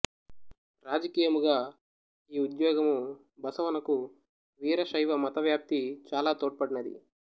రాజకీయముగా ఈ ఉద్యోగము బసవనకు వీరశైవ మత వ్యాప్తి చాలా తోడ్పడినది